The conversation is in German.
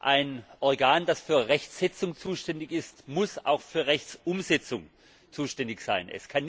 Ein Organ, das für Rechtsetzung zuständig ist, muss auch für Rechtsumsetzung zuständig sein.